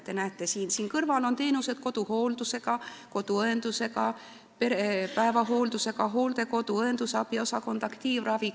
Te näete, siin kõrval on koduhooldus, koduõendus, päevahooldus, hooldekodu, õendusabiosakond, aktiivravi.